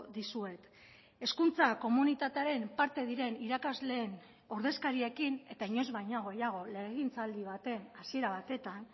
dizuet hezkuntza komunitatearen parte diren irakasleen ordezkariekin eta inoiz baino gehiago legegintzaldi baten hasiera batetan